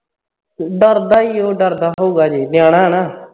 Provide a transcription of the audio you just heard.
ਡਰਦਾ ਹੀ ਉਹ ਡਰਦਾ ਉਹ ਅਜੇ ਨਿਆਣਾ ਹੈ ਨਾ